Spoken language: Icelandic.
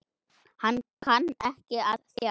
Hann kann ekki að þjást.